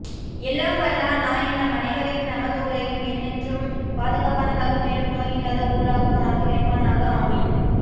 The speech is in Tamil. எல்லாம் வல்லாஹ் நாயன் நம் அனைவரையும் நமதூரையும் என்றென்றும் பாதுகாப்பானாக மேலும் நோய் இல்லாத ஊராகவும் ஆக்கி வைப்பானாக ஆமீன்